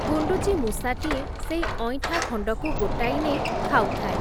ଗୁଣ୍ଡୁଚିମୂଷାଟିଏ, ସେଇ ଅଇଁଠା ଖଣ୍ଡକୁ ଗୋଟାଇ ନେଇ ଖାଉଥାଏ ।